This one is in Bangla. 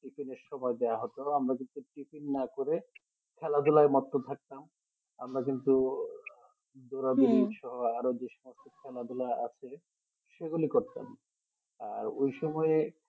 tiffin এর সময় দেওয়া হতো আমরা জতি tiffin না করে খেলাধুলায় মত্ত থাকতাম আমরা কিন্তু দোড়াদোড়ির সময় আরো যে সমস্ত খেলাধুলা আছে সেগুলি করতাম আর ওই সময় এ